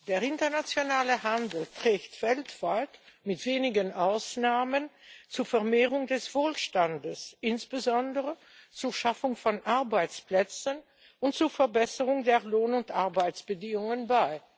Der internationale Handel trägt weltweit mit wenigen Ausnahmen zur Vermehrung des Wohlstandes, insbesondere zur Schaffung von Arbeitsplätzen und zur Verbesserung der Lohn und Arbeitsbedingungen bei.